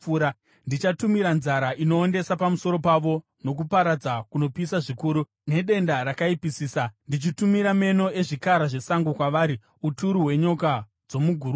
Ndichatumira nzara inoondesa pamusoro pavo, nokuparadza kunopisa zvikuru nedenda rakaipisisa; ndichatumira meno ezvikara zvesango kwavari, uturu hwenyoka dzomuguruva.